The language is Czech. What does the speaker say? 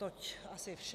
Toť asi vše.